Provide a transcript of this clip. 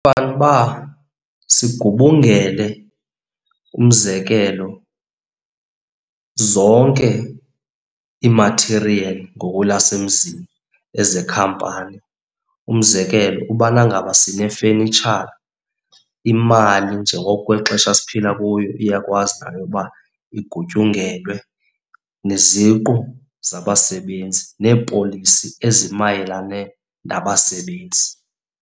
Fanele uba sigubungele, umzekelo zonke ii-material ngokwelasemzini, ezekhampani. Umzekelo ubana ngaba sinefenitshara, imali njengokwexesha esiphila kuyo iyakwazi nayo uba igutyungelwe neziqu zabasebenzi neepolisi ezimayelane nabasebenzi.